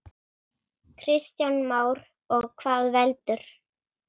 Kristján Már: Og hvað veldur?